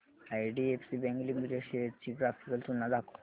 IDFC bank limited shares ची graphical तुलना दाखव